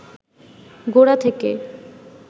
গোড়া থেকে